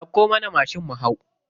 Dauko mana mashin mu hau.